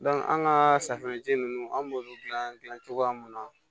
an ka safunɛji ninnu an b'olu dilan cogoya mun na